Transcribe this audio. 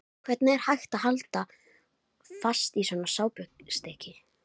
Hvernig var hægt að halda fast í svona sápustykki!